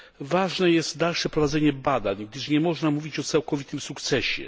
Ważne jest dalsze prowadzenie badań, gdyż nie można mówić o całkowitym sukcesie.